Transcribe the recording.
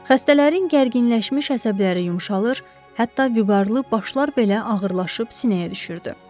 Xəstələrin gərginləşmiş əsəbləri yumşalır, hətta vüqarlı başlar belə ağırlaşıb sinəyə düşürdü.